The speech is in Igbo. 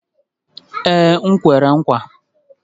Ee, m kwere nkwa